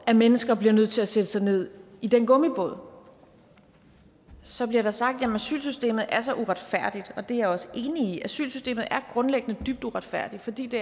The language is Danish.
at mennesker bliver nødt til at sætte sig ned i den gummibåd så bliver der sagt jamen asylsystemet er så uretfærdigt og det er jeg også enig i asylsystemet er grundlæggende dybt uretfærdigt fordi det